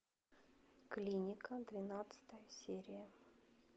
клиника двенадцатая серия